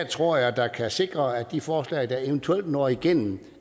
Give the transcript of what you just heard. tror jeg der kan sikre at de forslag der eventuelt når igennem